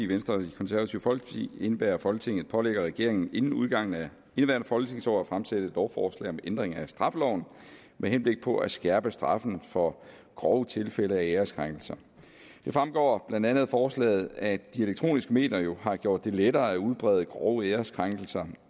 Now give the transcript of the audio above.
venstre og det konservative folkeparti indebærer at folketinget pålægger regeringen inden udgangen af indeværende folketingsår at fremsætte lovforslag om ændring af straffeloven med henblik på at skærpe straffen for grove tilfælde af æreskrænkelse det fremgår blandt andet af forslaget at de elektroniske medier har gjort det lettere at udbrede grove æreskrænkelser